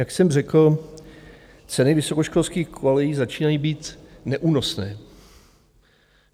Jak jsem řekl, ceny vysokoškolských kolejí začínají být neúnosné.